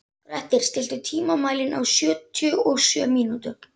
Grettir, stilltu tímamælinn á sjötíu og sjö mínútur.